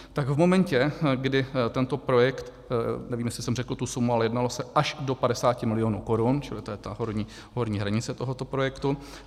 Tak v momentě, kdy tento projekt - nevím, jestli jsem řekl tu sumu, ale jednalo se až do 50 milionů korun, čili to je ta horní hranice tohoto projektu.